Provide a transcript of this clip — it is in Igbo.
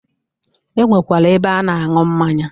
E nwekwara ebe a na-aṅụ mmanya.